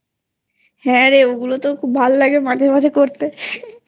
হ্যাঁ ওগুলো তো ভালো লাগে মাঝে মাঝে করতে